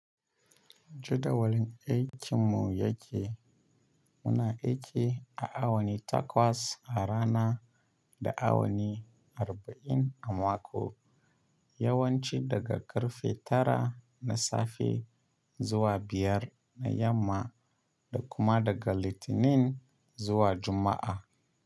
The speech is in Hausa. Jadawalin aikin mu ya ke muna aiki a awa takwas a rana da awani arba’in a mako, yawanci daga karfe tara na safe zuwa biyar na yamma da kuma daga Litinin zuwa Juma’a.